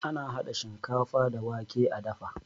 Ana hada shinkafa da wake a dafa